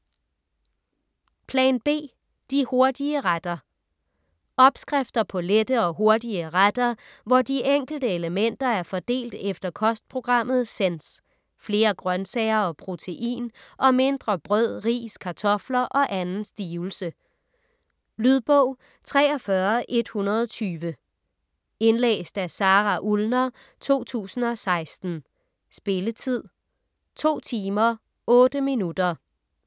Plan B - de hurtige retter Opskrifter på lette og hurtige retter hvor de enkelte elementer er fordelt efter kostprogrammet Sense: flere grøntsager og protein og mindre brød, ris, kartofter og anden stivelse. Lydbog 43120 Indlæst af Sara Ullner, 2016. Spilletid: 2 timer, 8 minutter.